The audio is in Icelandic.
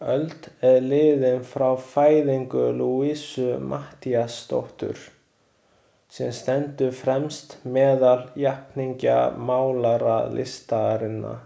Öld er liðin frá fæðingu Louisu Matthíasdóttur, sem stendur fremst meðal jafningja málaralistarinnar.